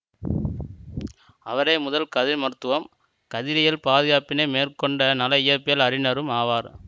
அவரே முதல் கதிர்மருத்துவரும் கதிரியல் பாதுகாப்பினை மேற்கொண்ட நல இயற்பியல் அறிஞரும் ஆவார்